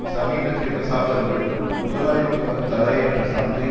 சமீபத்திய தசாப்தங்களில் முதலாளித்துவ தடையற்ற சந்தை